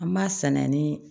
An b'a sana ni